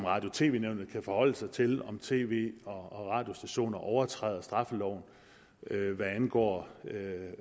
radio og tv nævnet kan forholde sig til om tv og radiostationer overtræder straffeloven hvad angår